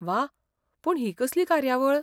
वाह! पूण ही कसली कार्यावळ?